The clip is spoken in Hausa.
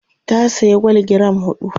ta saya gwal giram huɗu